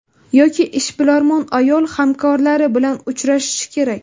Yoki ishbilarmon ayol, hamkorlari bilan uchrashishi kerak.